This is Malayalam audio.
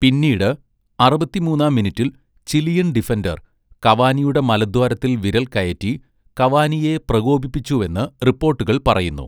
പിന്നീട്, അറുപത്തിമൂന്നാം മിനിറ്റിൽ ചിലിയൻ ഡിഫൻഡർ കവാനിയുടെ മലദ്വാരത്തിൽ വിരൽ കയറ്റി കവാനിയെ പ്രകോപിപ്പിച്ചുവെന്ന് റിപ്പോട്ടുകൾ പറയുന്നു.